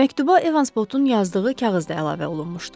Məktuba Evans Potun yazdığı kağız da əlavə olunmuşdu.